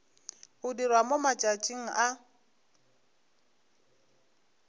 go dirwa mo matšatšing a